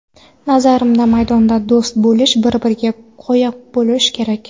Nazarimda, maydonda do‘st bo‘lish, bir-biriga qoya bo‘lish kerak.